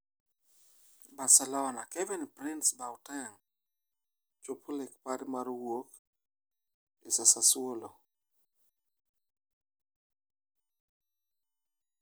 Barcelona: Kevin-Prince Boateng chopo lek mare mar wuok e Sassuolo